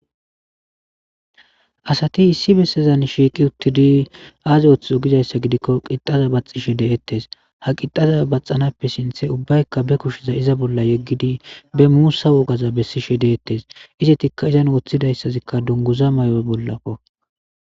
Asati issi bessezan shiiqi uttidi aazi othth ogizayssa gidikko qixaza baxishe deettes ha qixaza baxanappe sinthe ubbaykka be kushiza iza bolla yeggidi be muussa wogaza bessishe deettes izetikka izan wooththidayssazikka dunguza may7o bollako.